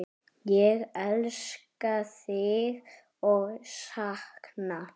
Ég elska þig og sakna.